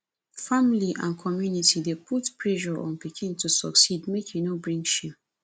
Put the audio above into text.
family and community dey put pressure on pikin to succeed make e no bring shame